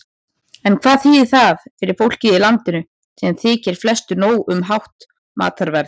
En hvað þýðir það fyrir fólkið í landinu, sem þykir flestu nóg um hátt matarverð?